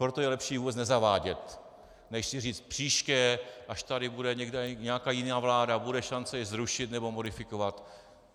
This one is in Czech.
Proto je lepší ji vůbec nezavádět než si říct: příště, až tady bude nějaká jiná vláda, bude šance ji zrušit nebo modifikovat.